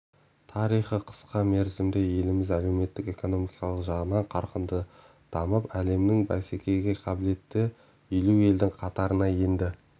тарихы қысқа мерзімде еліміз әлеуметтік-экономикалық жағынан қарқынды дамып әлемнің бәсекеге қабілетті елу елдің қатарына енді